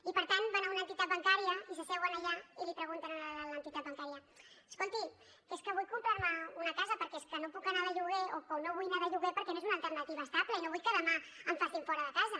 i per tant van a una entitat bancària i s’asseuen allà i li pregunten a la de l’entitat bancària escolti que és que vull comprar me una casa perquè és que no puc anar de lloguer o no vull anar de lloguer perquè no és una alternativa estable i no vull que demà em facin fora de casa